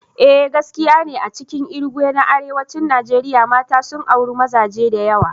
Eh gaskiya ne, a cikin Irigwe na arewacin Najeriya, mata sun auri mazaje da yawa.